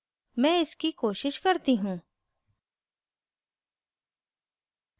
मैं इसकी कोशिश करती हूँ